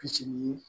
Fitini